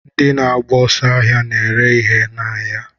Ndị na-agba ọsọ ahia na-ere ihe n'ahịa.